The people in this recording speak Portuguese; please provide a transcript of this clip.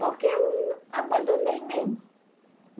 Porque eu abandonei mesmo.